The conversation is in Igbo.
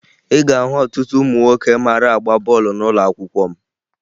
Ị ga-ahụ ọtụtụ ụmụ nwoke mara agba bọọlụ n'ụlọakwụkwọ m